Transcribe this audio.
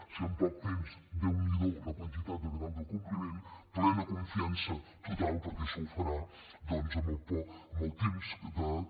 si en poc temps déu n’hi do la quantitat de grau d’acompliment plena confiança total perquè això ho farà doncs en el temps que